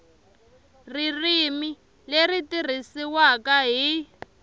ririmi leri tirhisiwaka hi